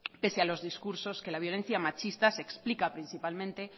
pese a los discursos que la violencia machista se explica principalmente